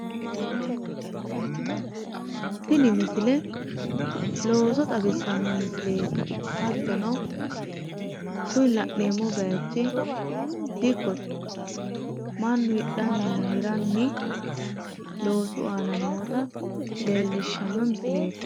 Tini misile looso xawissanno misileeti hattono kuni la'neemmo bayiichchi dikkote mannu hidhdhanninna hiranni loosu aana noota leellishshanno misileeti